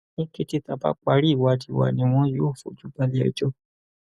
ní kété tá a bá parí ìwádìí wa ni wọn yóò fojú balẹẹjọ